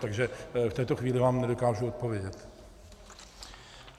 Takže v této chvíli vám nedokážu odpovědět.